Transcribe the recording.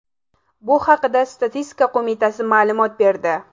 Bu haqda Statistika qo‘mitasi ma’lumot berdi .